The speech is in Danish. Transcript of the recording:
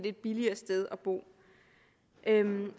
et billigere sted at bo